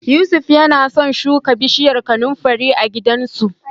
Yusuf yana so shuka bishiyar kanunfari a gidansu.